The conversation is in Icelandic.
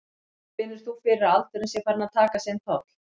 Finnur þú fyrir að aldurinn sé farinn að taka sinn toll?